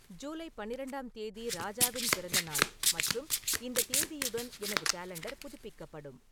ஜூலை பன்னிரண்டாம் தேதி ராஜாவின் பிறந்தநாள் மற்றும் இந்த தேதியுடன் எனது காலண்டர் புதுப்பிக்கப்படும்